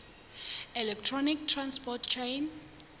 electron transport chain